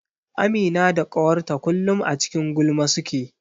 Amina da ƙawarta kullum a cikin gulma suke.